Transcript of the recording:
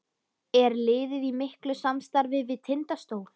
Er liðið í miklu samstarfi við Tindastól?